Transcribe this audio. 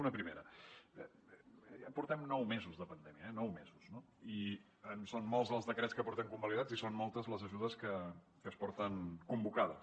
una primera ja portem nou mesos de pandèmia eh nou mesos i són molts els decrets que portem convalidats i són moltes les ajudes que es porten convocades